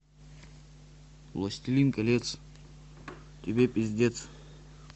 властелин колец тебе пиздец